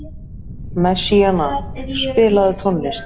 Messíana, spilaðu tónlist.